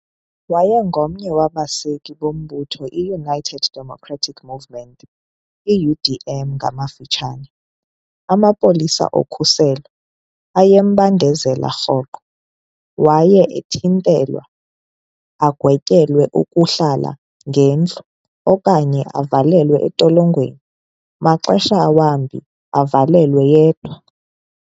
Wayengomnye wabaseki bombutho i- United Democratic Movement, I - U.D.M ngamafutshane. Amapolisa okhuselo ayembandezela rhoqo, kwaye ethintelwa, agwetyelwe ukuhlala ngendlu okanye avalelwe entolongweni, maxesha wambi avalelwe yedwa.